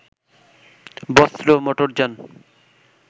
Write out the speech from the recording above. বস্ত্র, মোটরযান